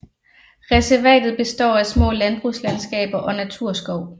Reservatet består af små landbrugslandskaber og naturskov